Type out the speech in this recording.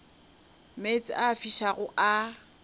meetse a a fišago a